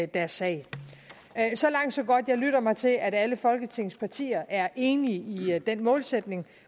deres sag så langt så godt jeg lytter mig til at alle folketingets partier er enige i den målsætning